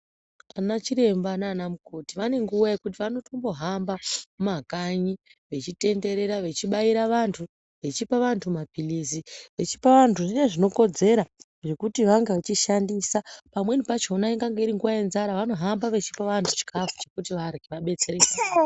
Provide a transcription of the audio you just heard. Ana chiremba nana mukoti vane nguwa yekuti vanotombohamba mumakanyi vechitenderera vechibaira vanthu vechipa vanthu mapirizi vechipa vanthu nezvinokodzera zvekuti vange vachishandisa pamweni pachona ikange iri nguwa yenzara vanohambe vechipa vanthu chikafu chekuti vadetsereke.